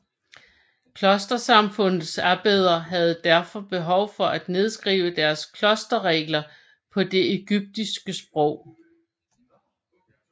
Klostersamfundenes abbeder havde derfor behov for at nedskrive deres klosterregler på det egyptiske sprog